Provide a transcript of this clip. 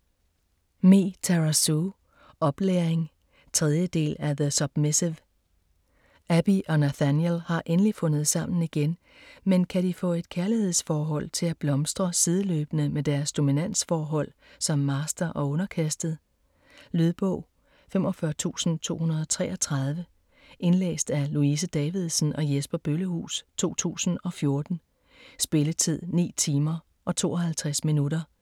Me, Tara Sue: Oplæring 3. del af The submissive. Abby og Nathaniel har endelig fundet sammen igen, men kan de få et kærlighedsforhold til at blomstre sideløbende med deres dominansforhold som master og underkastet? Lydbog 45233 Indlæst af Louise Davidsen og Jesper Bøllehus, 2014. Spilletid: 9 timer, 52 minutter.